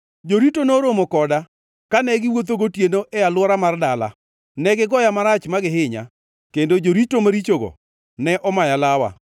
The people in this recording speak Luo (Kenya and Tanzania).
Jorito noromo koda kane giwuotho gotieno e alwora mar dala. Ne gigoya marach ma gihinya; kendo jorito marichogo, ne omaya lawa!